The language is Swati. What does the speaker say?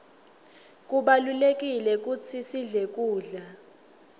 kubalulekile kutsi sidle kudla